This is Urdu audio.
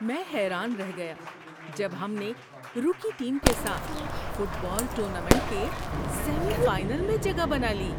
میں حیران رہ گیا جب ہم نے روکی ٹیم کے ساتھ فٹ بال ٹورنامنٹ کے سیمی فائنل میں جگہ بنا لی۔